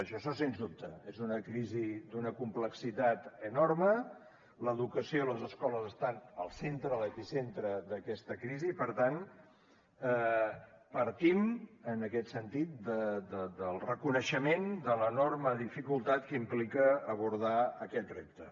això sens dubte és una crisi d’una complexitat enorme l’educació i les escoles estan al centre a l’epicentre d’aquesta crisi i per tant partim en aquest sentit del reconeixement de l’enorme dificultat que implica abordar aquest repte